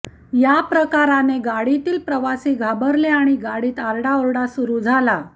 या प्रकाराने गाडीतील प्रवासी घाबरले आणि गाडीत आरडाओरड सुरु झाली